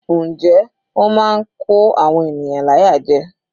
Njẹ́ ó máa ń kó àwọn ènìyàn láyà jẹ.